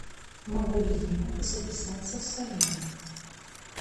могу ли я записаться в солярий